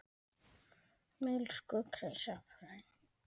Elsku Krissa frænka.